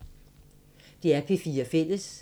DR P4 Fælles